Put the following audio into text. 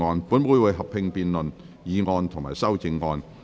本會會合併辯論議案及修正案。